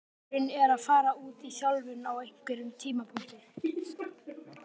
Draumurinn er að fara út í þjálfun á einhverjum tímapunkti.